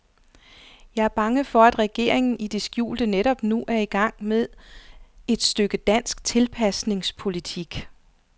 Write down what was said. Jeg er bange for, at regeringen i det skjulte netop nu er i gang med et stykke dansk tilpasningspolitik.